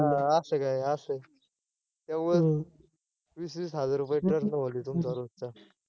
अं असं काय असं काय वीस वीस हजार रुपये ट्रक न ओडितो तुमचा रोजचा,